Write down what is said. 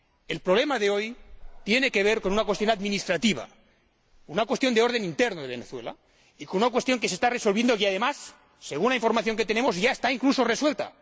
El problema de hoy tiene que ver con una cuestión administrativa, una cuestión de orden interno de Venezuela, una cuestión que se está resolviendo y que, además, según la información que tenemos, ya está, incluso, resuelta.